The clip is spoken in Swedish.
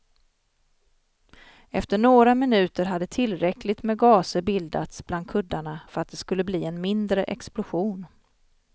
Efter några minuter hade tillräckligt med gaser bildats bland kuddarna för att det skulle bli en mindre explosion.